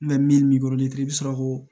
min kɔrɔlen tɛ i bɛ sɔrɔ k'o